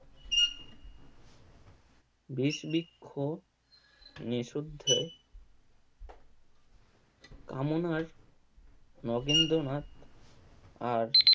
বিষবৃক্ষ নিশুদ্ধে কামনার নগেন্দ্রনাথ আর